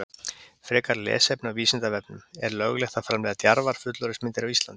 Frekara lesefni á Vísindavefnum Er löglegt að framleiða djarfar fullorðinsmyndir á Íslandi?